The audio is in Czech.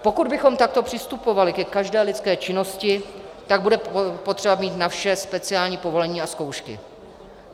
Pokud bychom takto přistupovali ke každé lidské činnosti, tak bude potřeba mít na vše speciální povolení a zkoušky.